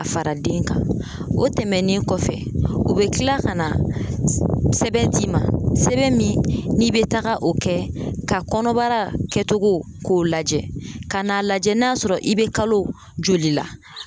A fara den kan. O tɛmɛnen kɔfɛ u be tila kana s sɛbɛn d'i ma sɛbɛn min n'i be taga o kɛ ka kɔnɔbara kɛcogo k'o lajɛ ka n'a lajɛ n'a sɔrɔ i be kalo joli la.